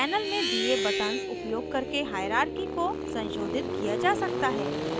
panel में दिए buttons उपयोग करके हाइरार्की को संशोधित किया जा सकता है